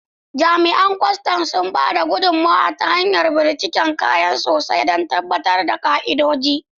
Jami'an kwastam suna ba da gudummawa ta hanyar bincikar kaya sosai don tabbatar da bin ka'idoji.